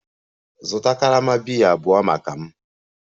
Zụta karama biya abụọ maka m!